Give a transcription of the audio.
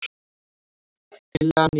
Tillagan í heild